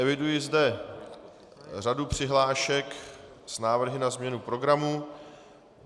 Eviduji zde řadu přihlášek s návrhy na změnu programu.